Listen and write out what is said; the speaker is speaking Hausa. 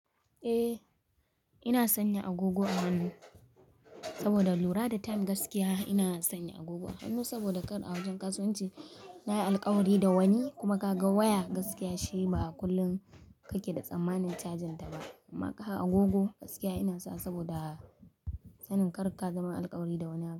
Eh ina sanya agogo a hannu saboda lura da time gaskiya. Ina sanya agogo a hannu saboda kar a wajen kasuwanci na yi alkawari da wani kuma ka ga waya gaskiya shi ba kullum ka ke da tsammanin cajin ta ba. Amma kaga agogo gaskiya ina sawa saboda sanin kar ka zama alkawari da wani abu.